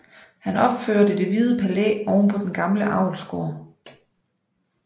Han opførte Det Hvide Palæ ovenpå den gamle avlsgård